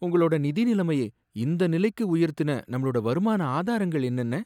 உங்களோட நிதி நிலைமையை இந்த நிலைக்கு உயர்த்தின நம்மளோட வருமான ஆதாரங்கள் என்னென்ன?